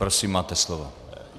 Prosím, máte slovo.